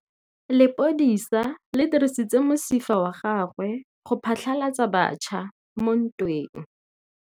Lepodisa le dirisitse mosifa wa gagwe go phatlalatsa batšha mo ntweng.